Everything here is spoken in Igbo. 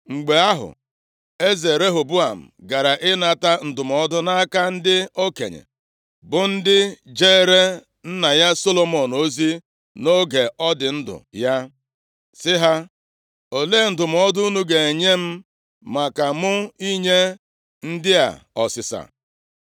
Mgbe ahụ, eze Rehoboam gara ịnata ndụmọdụ nʼaka ndị okenye, bụ ndị jeere nna ya Solomọn ozi nʼoge ọ dị ndụ ya, sị ha, “Olee ndụmọdụ unu ga-enye m maka mụ inye ndị a ọsịsa?”